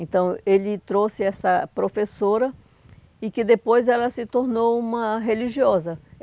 Então, ele trouxe essa professora e que depois ela se tornou uma religiosa.